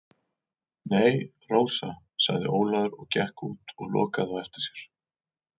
Nei, Rósa, sagði Ólafur og gekk út og lokaði á eftir sér.